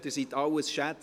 Sie alle sind Schätze!